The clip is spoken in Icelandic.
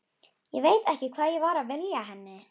Ég veit ekki hvað ég var að vilja henni.